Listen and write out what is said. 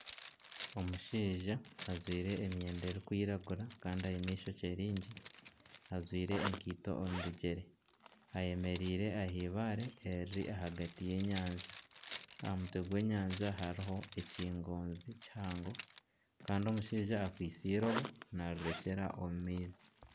Omushaija ajwire emyenda erikwiragura kandi aine ishokye ringi. Ajwire enkaito omu bigyere, ayemereire ah'eibaare eriri ahagati y'enyanja. Aha mutwe gw'enyanja hariho ekingoonzi kihango kandi omushaija akwitse irobo narirekyera omu maizi